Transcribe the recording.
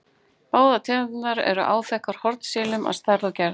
Báðar tegundirnar eru áþekkar hornsílum að stærð og gerð.